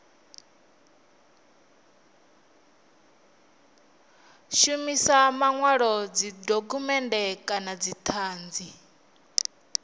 shumisa manwalo dzidokhumennde kana dzithanzi